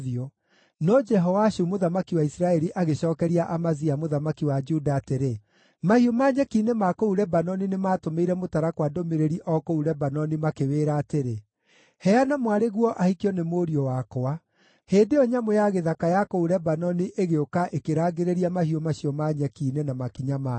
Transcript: No Jehoashu mũthamaki wa Isiraeli agĩcookeria Amazia mũthamaki wa Juda atĩrĩ, “Mahiũ ma nyeki-inĩ ma kũu Lebanoni nĩmatũmĩire mũtarakwa ndũmĩrĩri o kũu Lebanoni makĩwĩra atĩrĩ: ‘Heana mwarĩguo ahikio nĩ mũriũ wakwa.’ Hĩndĩ ĩyo nyamũ ya gĩthaka ya kũu Lebanoni ĩgĩũka ĩkĩrangĩrĩria mahiũ macio ma nyeki-inĩ na makinya mayo.